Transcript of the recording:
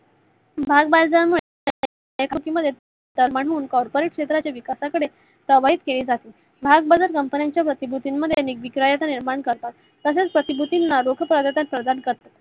भागबाजार मुळे Corporate क्षेत्राच्या विकासाकडे केलि जाते. भागबाजारा Company च्या प्रतीभूतीन मध्ये अनेक निर्माण करतात. तसेच प्र्तीभूतीना लोक प्रदान करतात.